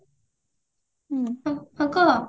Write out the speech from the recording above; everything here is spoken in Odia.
ଉଁ ହ ହଉ କହ